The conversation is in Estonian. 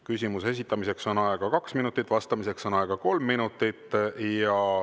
Küsimuse esitamiseks on aega kaks minutit, vastamiseks on aega kolm minutit.